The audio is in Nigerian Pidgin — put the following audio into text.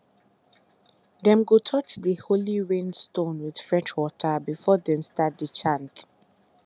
dem go touch the holy rain stone with fresh water before dem start to chant